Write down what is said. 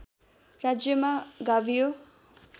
राज्यमा गाभियो